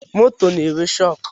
Moto na-enwe shọkụ